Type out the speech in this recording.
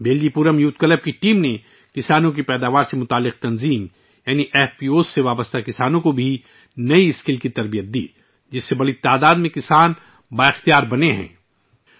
'بیلجی پورم youth club' کی team نے farmer producer organisations یعنی ایف پی اوز سے وابستہ کسانوں کو نئے ہنر بھی سکھائے، جس نے کسانوں کی ایک بڑی تعداد کو بااختیار بنایا ہے